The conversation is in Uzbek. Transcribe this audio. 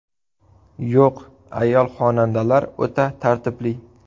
Yo‘q, ayol xonandalar o‘ta tartibli.